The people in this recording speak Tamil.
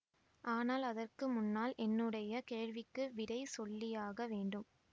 ஆனால் அதற்கு முன்னால் என்னுடைய கேள்விகளுக்கு விடை சொல்லியாக வேண்டும்